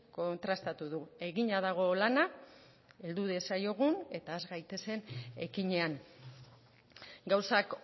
kontrastatu du egina dago lana heldu diezaiogun eta has gaitezen ekinean gauzak